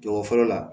Jɔyɔrɔ fɔlɔ la